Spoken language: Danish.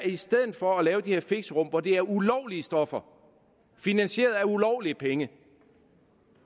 i stedet for at lave de her fixerum hvor det er ulovlige stoffer finansieret af ulovlige penge